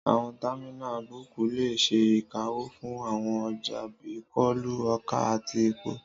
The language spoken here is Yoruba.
Àwọn támínà bọ́ọ̀kù lè ṣe ìkáwọ́ fún àwọn ọjà bíi kóòlù, ọkà àti epo